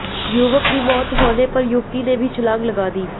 युवक की मौत होने पर युवती ने भी छलांग लगा दी